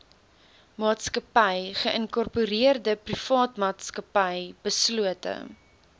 maatsakappy geïnkorpereerdeprivaatmaatsappy beslote